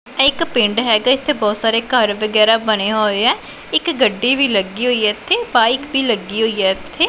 ਇਹ ਇੱਕ ਪਿੰਡ ਹੈਗਾ ਇੱਥੇ ਬਹੁਤ ਸਾਰੇ ਘਰ ਵਗੈਰਾ ਬਣਿਆ ਹੋਇਆ ਇੱਕ ਗੱਡੀ ਵੀ ਲੱਗੀ ਹੋਈਆ ਇੱਥੇ ਬਾਇਕ ਵੀ ਲੱਗੀ ਹੋਈਆ ਇੱਥੇ।